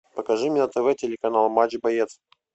покажи мне на тв телеканал матч боец